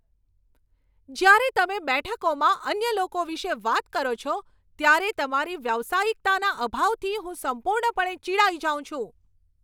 જ્યારે તમે બેઠકોમાં અન્ય લોકો વિશે વાત કરો છો ત્યારે તમારી વ્યાવસાયિકતાના અભાવથી હું સંપૂર્ણપણે ચિડાઈ જાઉં છું.